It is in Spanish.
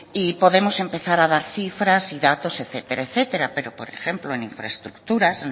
y podemos empezar a dar cifras y datos etcétera etcétera pero por ejemplo en infraestructuras